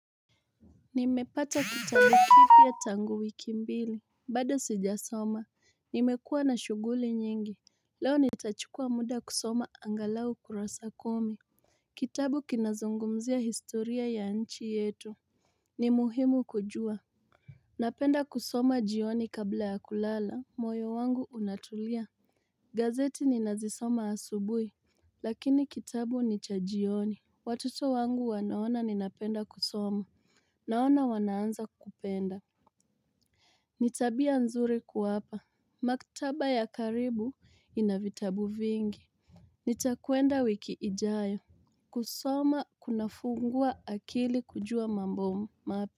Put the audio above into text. Nimepata kitame kifia tangu wiki mbili. Bado sijasoma. Nimekuwa na shughuli nyingi. Leo nitachukua muda kusoma angalau kurasa kumi. Kitabu kinazungumzia historia ya nchi yeto. Nimuhimu kujua. Napenda kusoma jioni kabla ya kulala. Moyo wangu unatulia. Gazeti ninazisoma asubui. Lakini kitabu ni cha jioni. Watoto wangu wanaona ninapenda kusoma. Naona wanaanza kupenda. Nitabia nzuri kuwapa. Maktaba ya karibu inavitabu vingi. Nitakuenda wikiijayo. Kusoma kuna funguwa akili kujua mambo mapi.